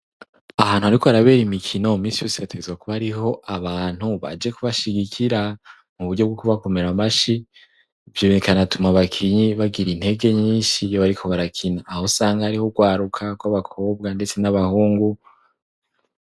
ahantu hariko harabera imikino minsi hategerezwa kuba hariho abantu baje kubashigikira mu buryo bwo kubakomera amashi ivyo bikanatuma bakinyi bagira intege nyinshi yo bariko barakina aho usanga hariho ugwaruka gwab 'abakobwa ndetse n'abahungu